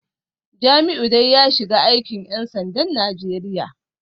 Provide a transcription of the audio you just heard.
Jamiu dai ya shiga aikin ‘yan sandan Najeriya